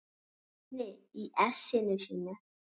Svenni í essinu sínu.